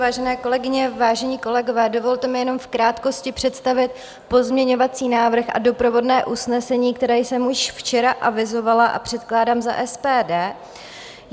Vážené kolegyně, vážení kolegové, dovolte mi jenom v krátkosti představit pozměňovací návrh a doprovodné usnesení, které jsem už včera avizovala a předkládám za SPD.